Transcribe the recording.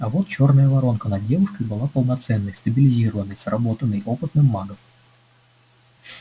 а вот чёрная воронка над девушкой была полноценной стабилизированной сработанной опытным магом